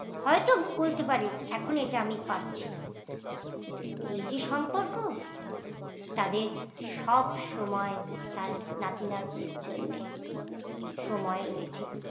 হয়তো বলতে পারি এখন এটা আমি পারছি না, কিন্তু এই যে এই যে সম্পর্ক তাদের সব সময় তার নাতি নাতনির জন্য সময় রয়েছে।